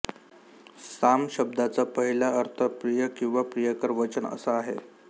साम शब्दाचा पहिला अर्थ प्रिय किंवा प्रियकर वचन असा आहे